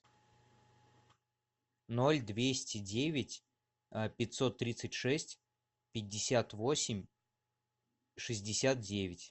ноль двести девять пятьсот тридцать шесть пятьдесят восемь шестьдесят девять